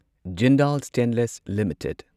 Jindal stainless limited